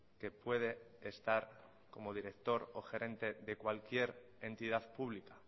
que puede estar como director o gerente de cualquier entidad pública